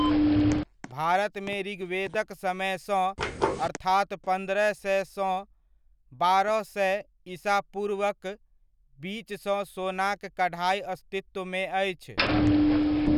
भारतमे ऋग्वेदक समयसँ, अर्थात पन्द्रह सए सँ बारह सए ईसा पूर्वक बीचसँ सोनाक कढ़ाइ अस्तित्वमे अछि।